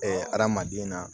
adamaden na